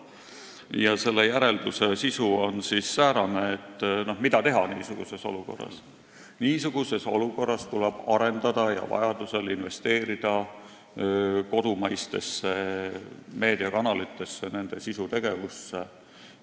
Nad küsivad, mida teha niisuguses olukorras, ja järelduse sisu on säärane: niisuguses olukorras tuleb arendada ja vajaduse korral investeerida kodumaistesse meediakanalitesse, nende sisutegevusse.